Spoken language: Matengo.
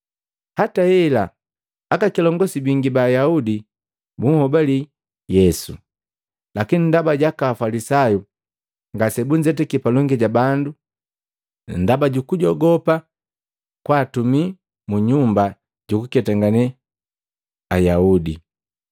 Hata hela, aka kilongosi bingi ba Ayaudi bunhobali Yesu. Lakini ndaba jaaka Afalisayu, ngase bunzetaki palongi ja bandu ndaba jukujogopa kwaatumi mu Manyumba jukuketangane Ayaudi.